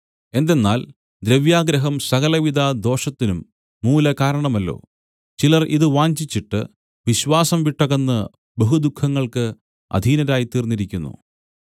എന്തെന്നാൽ ദ്രവ്യാഗ്രഹം സകലവിധദോഷത്തിനും മൂലകാരണമല്ലോ ചിലർ ഇത് വാഞ്ചിച്ചിട്ട് വിശ്വാസം വിട്ടകന്ന് ബഹുദുഃഖങ്ങൾക്ക് അധീനരായിത്തീർന്നിരിക്കുന്നു